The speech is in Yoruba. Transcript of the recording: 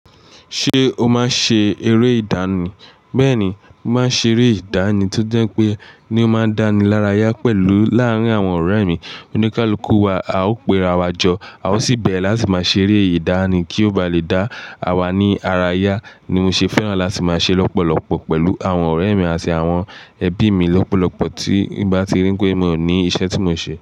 Ṣé o máa ń ṣe eré ìdánì? Bẹ́ẹ̀ni, mo máa ń ṣe eré ìdánì tó jẹ́ pé ni ó máa ń dá ni lára yá pẹ̀lú láàárín àwọn ọ̀rẹ́ mi. Oníkálukú wa, a ó pe ra wa jọ, a ó sì bẹ̀rẹ̀ láti máa ṣeré ìdánì kí ó ba lè dá awa ní ara yá ni mo ṣe fẹ́ràn láti máa ṣe lọ́pọ̀lọpọ̀ pẹ̀lú àwọn ọ̀rẹ́ mi àti àwọn ẹbí mi lọ́pọ̀lọpọ̀ tí n bá ti ríi pé mi ò ní iṣẹ́ tí mo ń ṣe.